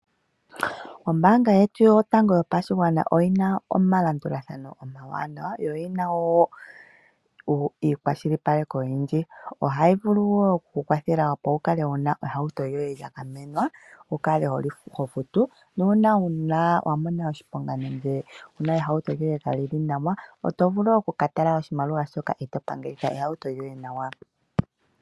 Ombaanga yetu yotango yopashigwana oyi na omalandulathano omawanawa noyi na wo omakwashilipaleko ogendji. Ohayi vulu wo oku ku kwathela wu kale wu na ehauto lyoye lya gamenwa, wu kale ho futu nuuna wa mona oshiponga nenge ehauto lyoye kali li nawa oto vulu oku ka tala oshimaliwa e to pangelitha ehauto lyoye nawa.